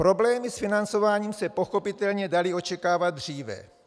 Problémy s financováním se pochopitelně daly očekávat dříve.